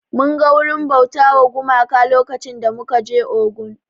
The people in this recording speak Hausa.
Mun ga wurin bauta wa gumaka lokacin da muka je Ogun